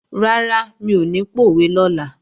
Rárá, mi ò ní pòwe lọ́la